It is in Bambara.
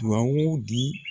Dugawu di